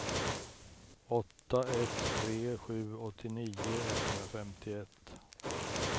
åtta ett tre sju åttionio etthundrafemtioett